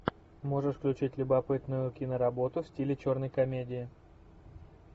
можешь включить любопытную киноработу в стиле черной комедии